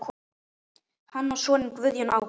Hann á soninn Guðjón Ágúst.